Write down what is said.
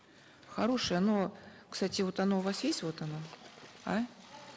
хорошее оно кстати вот оно у вас есть вот оно а